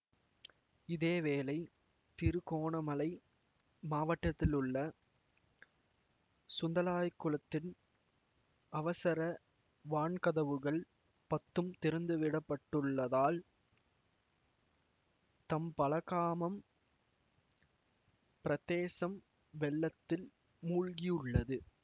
இதேவேளை திருகோணமலை மாவட்டத்திலுள்ள சுந்தளாய்க்குளத்தின் அவசர வான்கதவுகள் பத்தும் திறந்துவிடப்பட்டுள்ளதால் தம்பலகாமம் பிரதேசம் வெள்ளத்தில் மூழ்கியுள்ளது